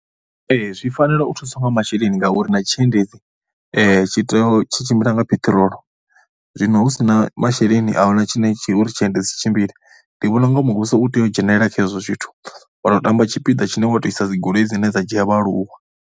Ee, zwi fanela u thusa nga masheleni ngauri na tshiendedzi tshi tea u, tshi tshimbila nga peṱirolo. Zwino hu si na masheleni a hu na tshine tshi uri tshiendedzi tshi tshimbile. Ndi vhona u nga muvhuso u tea u dzhenelela kha hezwo zwithu, wa tamba tshipiḓa tshine wa tou isa dzi goloi dzine dza dzhia vhaaluwa.